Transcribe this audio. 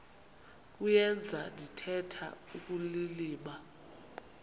kuyenza ndithetha ukulilima